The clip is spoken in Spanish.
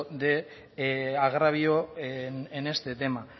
de agravio en este tema